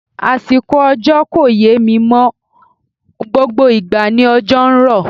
Àsìkò òjò kò yé mí mọ́ o, gbogbo ìgbà ni òjò ń rọ̀.